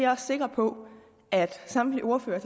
også sikker på at samtlige ordførere